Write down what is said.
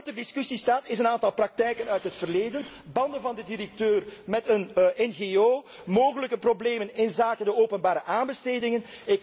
Wat wel ter discussie staat zijn een aantal praktijken uit het verleden banden van de directeur met een ngo, mogelijke problemen inzake de openbare aanbestedingen.